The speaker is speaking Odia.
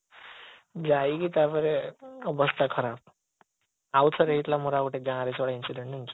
ଯାଇକି ତାପରେ ଅବସ୍ଥା ଖରାବ ଆଉ ଥରେ ହେଇଥିଲା ମୋର ଦେୟାର ଗାଁ ରେ incident ଜାଣିଛୁ